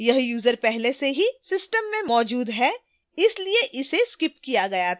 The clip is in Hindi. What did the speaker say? यह यूजर पहले से ही system में मौजूद है इसलिए इसे skipped किया गया था